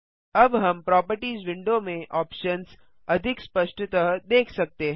अब हम properties window में ऑप्शन्स अधिक स्पष्टतः देख सकते हैं